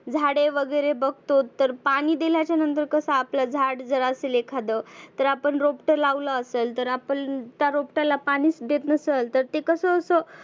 झाडे वगैरे बघतोत तर पाणि दिल्याच्या नंतर कसं आपलं झाड जर असेल एखाद तर आपण रोपट लावलं असेल तर आपण त्या रोपट्याला पाणिच देत नसल तर ते कसं असं.